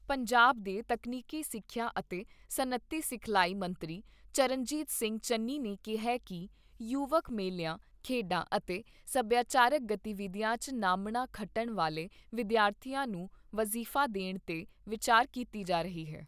ਪੰਜਾਬ ਦੇ ਤਕਨੀਕੀ ਸਿੱਖਿਆ ਅਤੇ ਸਨੱਅਤੀ ਸਿਖਲਾਈ ਮੰਤਰੀ ਚਰਨਜੀਤ ਸਿੰਘ ਚੰਨੀ ਨੇ ਕਿਹਾ ਕਿ ਯੁਵਕ ਮੇਲਿਆਂ, ਖੇਡਾਂ ਅਤੇ ਸਭਿਆਚਾਰਕ ਗਤੀਵਿਧੀਆਂ 'ਚ ਨਾਮਣਾ ਖੱਟਣ ਵਾਲੇ ਵਿਦਿਆਰਥੀਆਂ ਨੂੰ ਵਜ਼ੀਫਾ ਦੇਣ ਤੇ ਵਿਚਾਰ ਕੀਤੀ ਜਾ ਰਹੀ ਏ।